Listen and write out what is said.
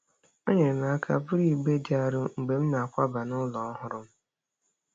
O nyeere m aka buru igbe dị arọ mgbe m na-akwaba n'ụlọ ọhụrụ m.